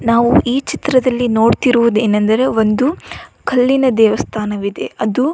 ನಾವು ಈ ಚಿತ್ರದಲ್ಲಿ ನೋಡ್ತಿರೋದು ಏನೆಂದರೆ ಒಂದು ಕಲ್ಲಿನ ದೇವಸ್ಥಾನವಿದೆ ಅದು.